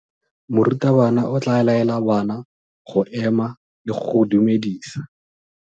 Morutabana o tla laela bana go ema le go go dumedisa.